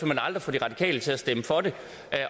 man aldrig få de radikale til at stemme for det